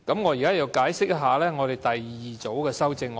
我現在解釋第二組修正案。